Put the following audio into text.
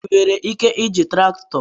Ị nwere ike iji traktọ?